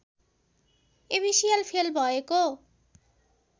एबिसिएल fail भएको